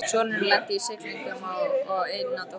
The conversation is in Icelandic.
Sonurinn lenti í siglingum og á eina dóttur